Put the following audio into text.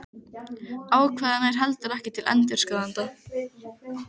Ákvæðið nær heldur ekki til endurskoðenda.